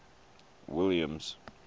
williams